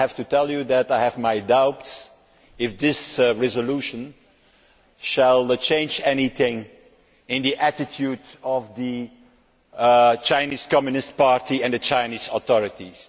I have to tell you that I have my doubts that this resolution will change anything in the attitude of the Chinese Communist Party and the Chinese authorities.